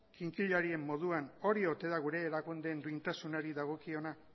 kinkilarien moduan hori ote da gure erakundeen duintasunari dagokiona